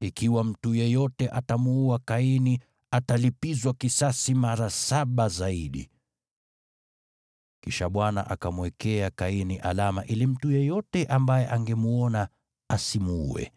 ikiwa mtu yeyote atamuua Kaini atalipizwa kisasi mara saba zaidi.” Kisha Bwana akamwekea Kaini alama ili mtu yeyote ambaye angemwona asimuue.